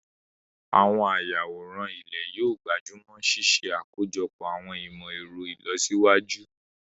Àwọn ayàwòrán ilé yóò gbájú mọ́ ṣíṣe àkójọpọ̀ àwọn ìmọ̀ ẹ̀rọ ìlọsíwájú